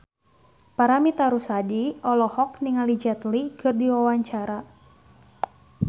Paramitha Rusady olohok ningali Jet Li keur diwawancara